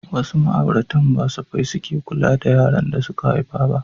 Wasu ma'auratan ba safai suke kula da yaran da suka haifa ba.